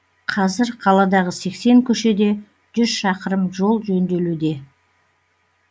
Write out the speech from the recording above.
қазір қаладағы сексен көшеде жүз шақырым жол жөнделуде